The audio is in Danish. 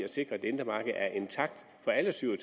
i at sikre at det indre marked er intakt for alle syv og